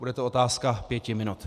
Bude to otázka pěti minut.